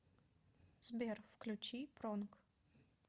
сбер включи пронг